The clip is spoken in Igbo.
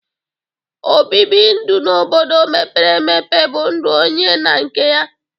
Obibi ndu n'obodo mepere emepe bụ ndu onye na nke ya.